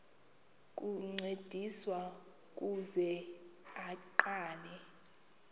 ukuncediswa ukuze aqale